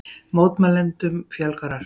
Mótmælendum fjölgar ört